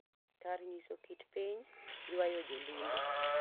Kar nyiso kit piny ywayo jo limbe